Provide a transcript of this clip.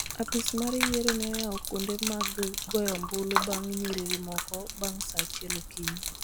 Apis mar yiero ne oyawo kuonde mag goyo ombulu bang� nyiriri moko bang� saa achiel okinyi.